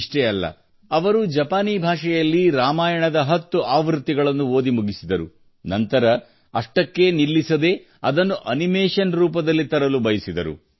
ಇಷ್ಟೇ ಅಲ್ಲ ಅವರು ಜಪಾನೀ ಭಾಷೆಯಲ್ಲಿ ರಾಮಾಯಣದ 10 ಆವೃತ್ತಿಗಳನ್ನು ಓದಿ ಮುಗಿಸಿದರು ನಂತರ ಅಷ್ಟಕ್ಕೇ ನಿಲ್ಲಿಸದೇ ಅದನ್ನು ಅನಿಮೇಷನ್ ರೂಪದಲ್ಲಿ ತರಲು ಬಯಸಿದರು